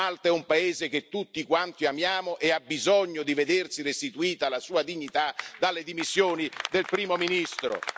Malta è un paese che tutti quanti amiamo e ha bisogno di vedersi restituita la sua dignità dalle dimissioni del primo ministro.